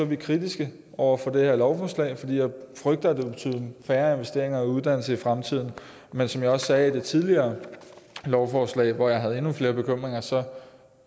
vi kritiske over for det her lovforslag fordi vi frygter at det vil betyde færre investeringer i uddannelse i fremtiden men som jeg også sagde ved det tidligere lovforslag hvor jeg havde endnu flere bekymringer så